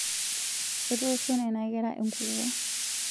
Etoosho nena kera enkukuo